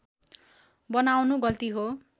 बनाउनु गल्ती हो